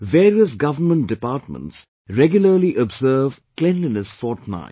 Various government departments regularly observe Cleanliness Fortnight